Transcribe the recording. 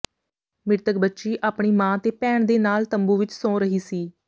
ਮ੍ਰਿਤਕ ਬੱਚੀ ਆਪਣੀ ਮਾਂ ਅਤੇ ਭੈਣ ਦੇ ਨਾਲ ਤੰਬੂ ਵਿਚ ਸੌਂ ਰਹੀ ਸੀ